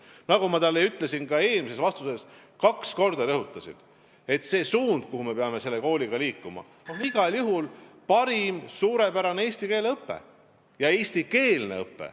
Nagu ma ütlesin ka eelmises vastuses – kaks korda rõhutasin –, et see suund, kuhu me peame selle kooliga liikuma, on igal juhul parim ja suurepärane eesti keele õpe ja eestikeelne õpe.